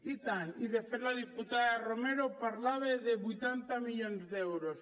i tant i de fet la diputada romero parlava de vuitanta milions d’euros